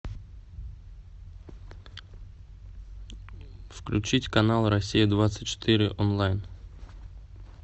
включить канал россия двадцать четыре онлайн